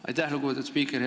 Aitäh, lugupeetud spiiker!